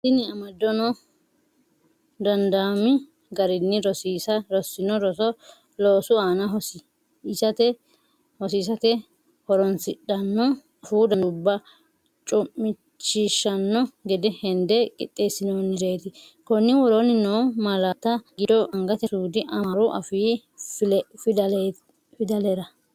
Tini amadono dandaami garinni rossino roso loosu aana hosi isate horoonsidhanno afuu danduubba cu’mishiishshanno gede hende qiixxeessinoonnireeti, Konni woroonni noo malaatta giddo angate suudi amaaru afii fidalera?